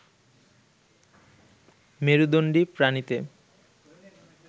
মেরুদণ্ডী প্রাণীতে